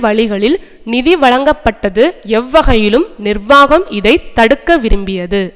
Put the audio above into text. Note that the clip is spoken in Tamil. வழிகளில் நிதி வழங்கப்பட்டது எவ்வகையிலும் நிர்வாகம் இதை தடுக்க விரும்பியது